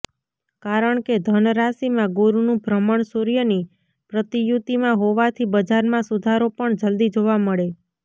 કારણ કે ધન રાશિમાં ગુરુનું ભ્રમણ સૂર્યની પ્રતિયુતિમાં હોવાથી બજારમાં સુધારો પણ જલદી જોવા મળે